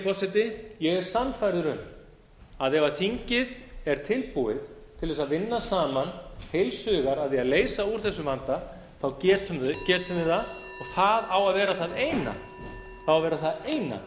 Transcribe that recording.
forseti ég er sannfærður um að ef þingið er tilbúið til þess að vinna saman heils hugar að því að leysa úr þessum vanda getum við það það á að vera það eina